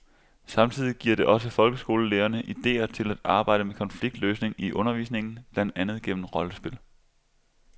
Samtidig giver det også folkeskolelærerne idéer til at arbejde med konfliktløsning i undervisningen, blandt andet gennem rollespil.